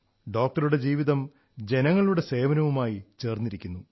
ഡോക്ടറുടെ ജീവിതം ജനങ്ങളുടെ സേവനവുമായി ചേർന്നിരിക്കുന്നു